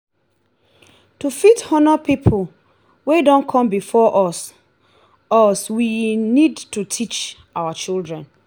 to fit honor pipo wey don come before us us we need to teach our children